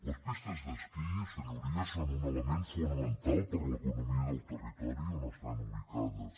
les pistes d’esquí senyories són un element fonamental per a l’economia del terri tori on estan ubicades